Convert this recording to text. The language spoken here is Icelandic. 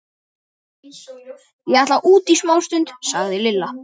Ég ætla út í smástund, sagði Lilla.